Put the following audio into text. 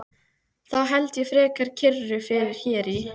Þá held ég frekar kyrru fyrir hér í